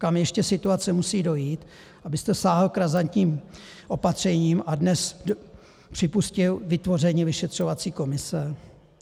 Kam ještě situace musí dojít, abyste sáhl k razantním opatřením a dnes připustil vytvoření vyšetřovací komise?